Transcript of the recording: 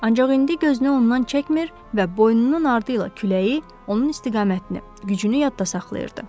Ancaq indi gözünü ondan çəkmir və boynunun ardı ilə küləyi, onun istiqamətini, gücünü yadda saxlayırdı.